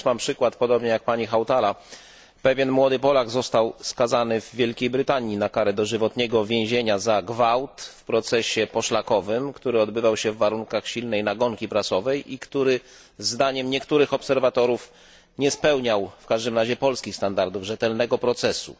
Ja też podam przykład, podobnie jak pani Hautala pewien młody Polak został skazany w Wielkiej Brytanii na karę dożywotniego więzienia za gwałt w procesie poszlakowym, który odbywał się w warunkach silnej nagonki prasowej i który, zdaniem niektórych obserwatorów, nie spełniał przynajmniej polskich standardów rzetelnego procesu.